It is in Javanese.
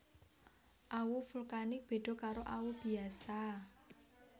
Awu vulkanik beda karo awu biasa